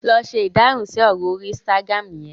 lọ se Ìdáhùn si ọrọ orí Instagram yen!